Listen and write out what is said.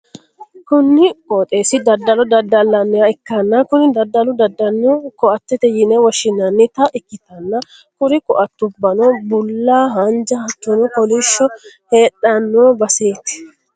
kuni ooxeessi daddalo daddallanniha ikkana, kuni daddalu danino ko'attete yine woshshi'nannita ikkitanna, kuri ko'atubbano bulla, haanja hattono kolishsho heedhanno baseeti.